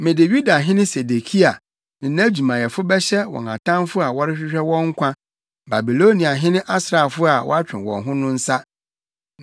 “Mede Yudahene Sedekia ne nʼadwumayɛfo bɛhyɛ wɔn atamfo a wɔrehwehwɛ wɔn nkwa, Babiloniahene asraafo a wɔatwe wɔn ho no nsa.